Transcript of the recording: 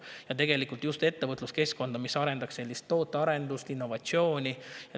Ja tegelikult ettevõtluskeskkonda, mis just tootearendust ja innovatsiooni.